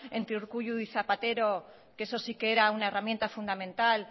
entre urkullu y zapatero que eso si que era una herramienta fundamental